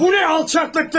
Bu nə alçaqlıqdır?